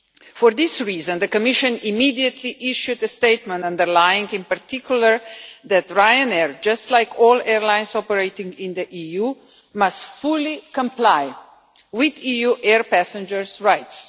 For this reason, the Commission immediately issued a statement underlying, in particular, that Ryanair just like all airlines operating in the EU must fully comply with EU air passengers' rights.